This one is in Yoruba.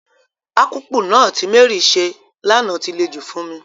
Akpu náà ti Mary se lana ti le jù fún mi.